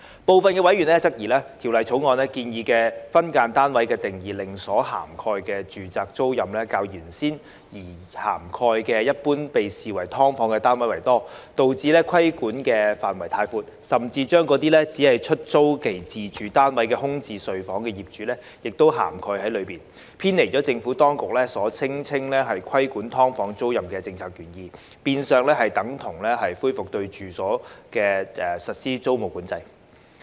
部分委員質疑，《條例草案》建議的分間單位定義令所涵蓋的住宅租賃較原先擬涵蓋一般被視為"劏房"的單位為多，導致規管範圍太闊，甚至把那些只是出租其自住單位空置睡房的業主亦涵蓋在內，偏離了政府當局所聲稱規管"劏房"租賃的政策原意，變相等同恢復對住宅處所實施租務管制。